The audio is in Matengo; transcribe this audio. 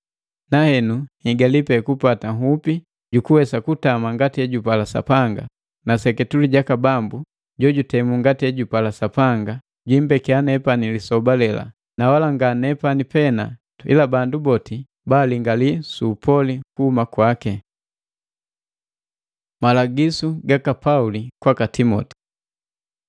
Nahenu, niihigali pena kupata nhupi jukuwesa kutama ngati hejupala Sapanga, seketule jaka Bambu, Jojutemu ngati ejupala Sapanga, jiimbekiya nepani lisoba lela, na wala nga nepani pena, ila bandu boti balingalii su upali kuhuma kwaki. Malagisu gaka Pauli kwaka Timoti